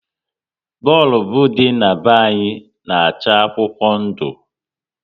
Bọlbụ dị na be anyị na-acha akwụkwọ ndụ